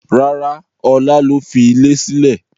Rárá, Ọlá ló fi ilẹ̀ sílè.